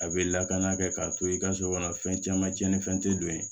A bɛ lakana kɛ k'a to i ka so kɔnɔ fɛn caman cɛnni fɛn tɛ don yen